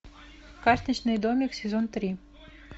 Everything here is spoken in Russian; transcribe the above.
карточный домик сезон три